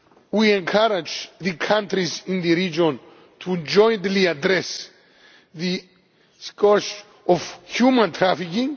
We encourage the countries in the region to jointly address the scourge of human trafficking.